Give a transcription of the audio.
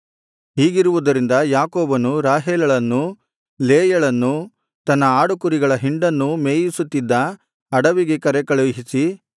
ಹೀಗಿರುವುದರಿಂದ ಯಾಕೋಬನು ರಾಹೇಲಳನ್ನೂ ಲೇಯಳನ್ನೂ ತನ್ನ ಆಡುಕುರಿಗಳ ಹಿಂಡನ್ನು ಮೇಯಿಸುತ್ತಿದ್ದ ಅಡವಿಗೆ ಕರೆಕಳುಹಿಸಿ